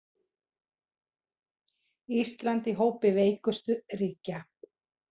Ísland í hópi veikustu ríkja